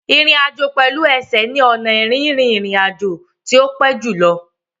Ìrìn àjò pẹ̀lú ẹsẹ̀ ni ọnà rírin ìrìn àjò tí ó pẹ́ jù lọ.